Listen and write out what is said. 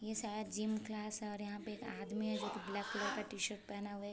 ये शायद gym class है और यहाँ पे एक आदमी है जो की ब्लैक कलर टी-शर्ट पहना हुआ है एक --